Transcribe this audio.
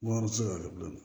Wari ti se ka kɛ bilen